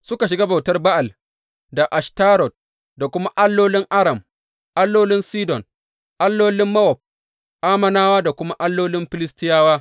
Suka shiga bautar Ba’al da Ashtarot, da kuma allolin Aram, allolin Sidon, allolin Mowab, Ammonawa da kuma allolin Filistiyawa.